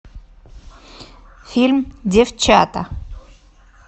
фильм девчата